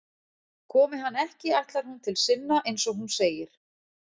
Komi hann ekki ætlar hún til sinna, eins og hún segir.